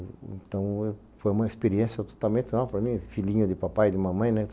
Então, foi uma experiência totalmente... para mim, filhinho de papai e de mamãe, né?